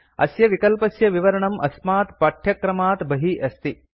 अस्य विकल्पस्य विवरणं अस्मात् पठ्यक्रमात् बहिः अस्ति